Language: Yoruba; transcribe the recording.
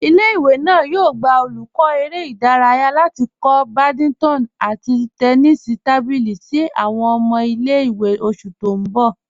Ìlẹ̀-ìwé náà yóò gbà olùkọ̀ èrè̀ idáràyà láti kọ̀ bádìntọ̀n àti tẹ́nísì tábílì sí ọmọ̀ ìlẹ̀-ìwé ní oṣù tí n bọ̀.